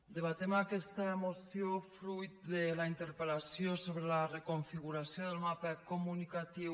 debatem aquesta moció fruit de la interpel·lació sobre la reconfiguració del mapa comunicatiu